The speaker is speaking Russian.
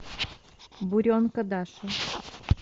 буренка даша